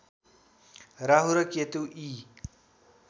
राहु र केतु यी